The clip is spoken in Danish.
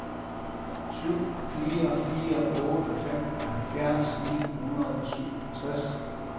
syv fire fire otte femoghalvfjerds ni hundrede og syvogtres